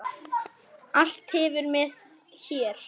Allt hverfur með þér.